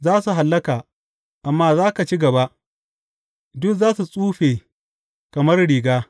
Za su hallaka, amma za ka ci gaba; duk za su tsufe kamar riga.